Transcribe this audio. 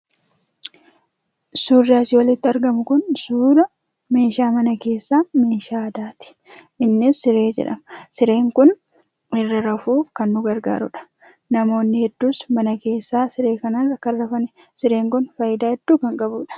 Suurri asii olitti argamu kun suura meeshaa mana keessaa meeshaa aadaati. Innis siree jedhama. Sireen kun irra rafuuf kan nu gargaarudha. Namoonni hedduus mana keessaa siree kanarra kan rafanidha. Sireen kun fayidaa hedduu kan qabudha.